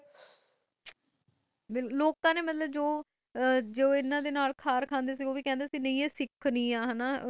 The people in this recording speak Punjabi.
ਲੋਕ ਜੋ ਹਨ ਨਾਲ ਖਾਰ ਖੜੇ ਸੀ ਉਹ ਖੜੇ ਸਿਖਸ ਨਹੀਂ ਹੈ